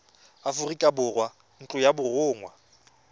aforika borwa ntlo ya borongwa